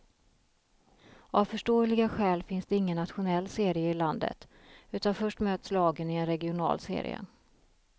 Av förståeliga skäl finns det ingen nationell serie i landet, utan först möts lagen i en regional serie.